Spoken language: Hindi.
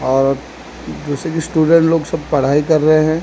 और दूसरी स्टूडेंट लोग सब पढ़ाई कर रहे हैं।